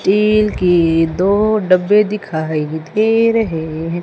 तिल के दो डब्बे दिखाई दे रहे हैं।